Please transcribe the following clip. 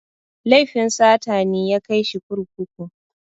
Laifin sata ne ya kai shi kurkuku.